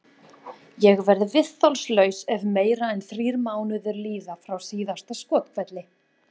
Ég verð viðþolslaus ef meira en þrír mánuðir líða frá síðasta skothvelli.